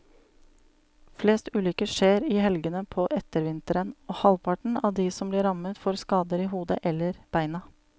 Flest ulykker skjer i helgene på ettervinteren, og halvparten av de som blir rammet får skader i hodet eller beina.